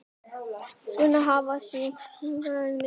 Laun hafa síðan hækkað mikið.